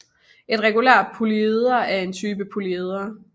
Et regulært polyeder er en type af polyedre